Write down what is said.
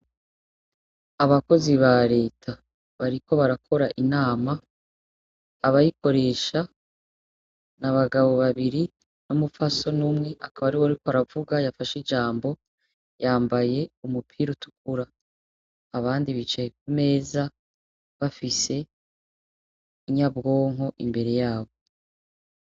Abakozi ba reta bariko barakora inama, abayikoresha, n'abagabo babiri n'umupfasoni umwe akaba ariwe ariko aravuga yafashe ijambo yambaye umupira utukura. Abandi bicaye kumeza bafise inyabwonko imbere yaho.